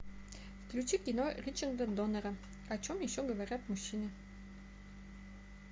включи кино ричарда доннера о чем еще говорят мужчины